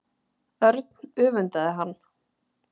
Örn öfundaði hann.